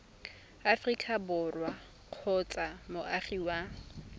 aforika borwa kgotsa moagi wa